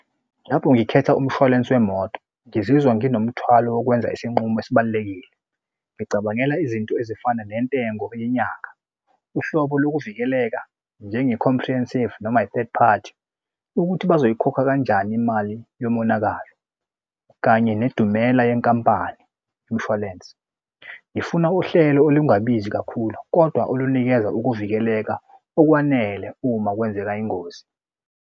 Lapho ngikhetha umshwalense wemoto, ngizizwa nginomuthwalo wokwenza isinqumo esibalulekile. Ngicabangela izinto ezifana nentengo yenyanga, uhlobo lokuvikeleka njenge-comprehensive noma i-third party ukuthi bazoyikhokha kanjani imali yomonakalo kanye nedumela yenkampani yomshwalense. Ngifuna uhlelo olungabhizi kakhulu kodwa olunikeza ukuvikeleka okwanele uma kwenzeka ingozi.